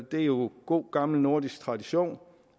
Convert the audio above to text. det er jo god gammel nordisk tradition